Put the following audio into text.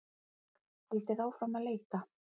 Haldið áfram að leita